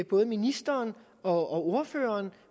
både ministeren og ordføreren